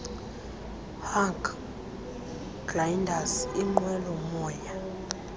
hang gliders inqwelomoya